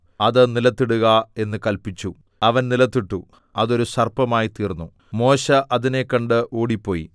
അത് നിലത്തിടുക എന്ന് കല്പിച്ചു അവൻ നിലത്തിട്ടു അത് ഒരു സർപ്പമായിത്തീർന്നു മോശെ അതിനെ കണ്ട് ഓടിപ്പോയി